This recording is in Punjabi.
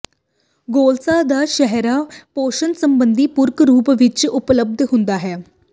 ਗੋਲਸਾ ਦਾ ਸਿਹਰਾ ਪੋਸ਼ਣ ਸੰਬੰਧੀ ਪੂਰਕ ਰੂਪ ਿਵੱਚ ਉਪਲਬਧ ਹੁੰਦਾ ਹੈ